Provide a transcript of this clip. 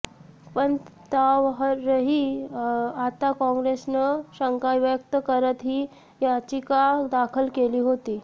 पण त्यावरही आता काँग्रेसनं शंका व्यक्त करत ही याचिका दाखल केली होती